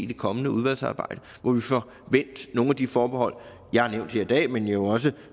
det kommende udvalgsarbejde hvor vi får vendt nogle af de forbehold jeg har nævnt her i dag men jo også